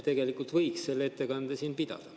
Tegelikult võiks selle ettekande siin pidada.